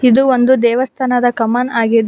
ಇದು ಒಂದು ದೇವಸ್ಥಾನದ ಕಮನ್ ಆಗಿದ್ದು.